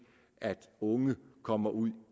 at unge kommer ud